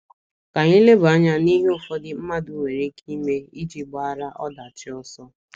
Ka anyị leba anya n’ihe ụfọdụ mmadụ nwere ike ime, iji gbaara ọdachi ọsọ.